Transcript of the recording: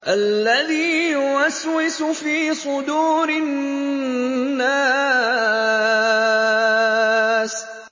الَّذِي يُوَسْوِسُ فِي صُدُورِ النَّاسِ